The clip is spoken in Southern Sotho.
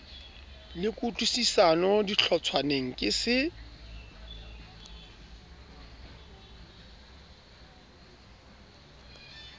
le kutlwisisano dihlotshwaneng ke se